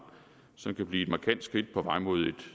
som kan blive et markant skridt på vej mod et